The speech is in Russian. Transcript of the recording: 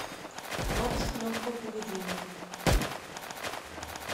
бабушка легкого поведения